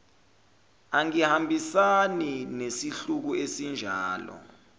angihambisani nesihluku esinjalo